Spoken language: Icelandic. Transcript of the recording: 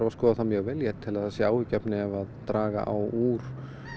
að skoða það mjög vel ég tel að það sé áhyggjuefni ef draga á úr